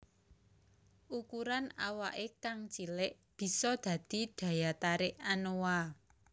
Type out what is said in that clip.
Ukuran awake kang cilik bisa dadi daya tarik anoa